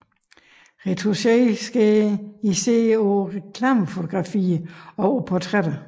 Retouche sker især på reklamefotografier og på portrætter